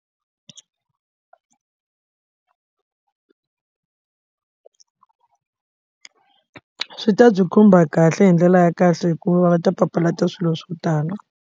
Swi ta byi khumba kahle hi ndlela ya kahle hikuva va nga ta papalata swilo swo tala.